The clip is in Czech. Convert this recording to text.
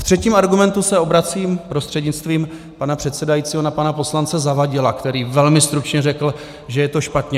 Ve třetím argumentu se obracím prostřednictvím pana předsedajícího na pana poslance Zavadila, který velmi stručně řekl, že je to špatně.